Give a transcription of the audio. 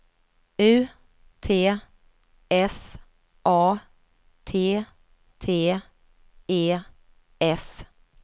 U T S A T T E S